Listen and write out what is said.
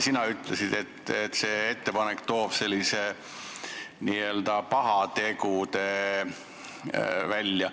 Sina ütlesid, et see ettepanek toob n-ö pahateod välja.